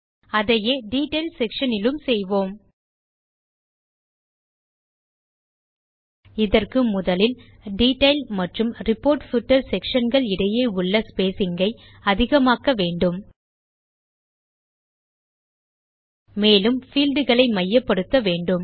அதையே detail section னிலும் செய்வோம்ltpausegt இதற்கு முதலில் டீட்டெயில் மற்றும் ரிப்போர்ட் பூட்டர் sectionகள் இடையே உள்ள ஸ்பேசிங் ஐ அதிகமாக்க வேண்டும்ltpausegt மேலும் பீல்ட் களை மையப்படுத்த வேண்டும்